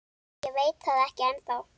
Ég veit það ekki ennþá.